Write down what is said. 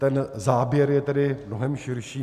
Ten záběr je tedy mnohem širší.